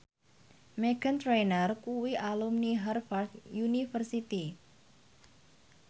Meghan Trainor kuwi alumni Harvard university